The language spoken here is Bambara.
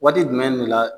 Waati jumɛn de la